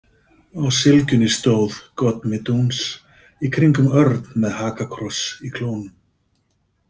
Á sylgjunni stóð „Gott mit uns“ í kringum örn með hakakross í klónum.